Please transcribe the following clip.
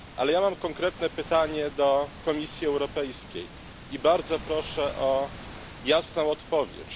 Ale ja mam konkretne pytanie do Komisji Europejskiej i bardzo proszę o jasną odpowiedź.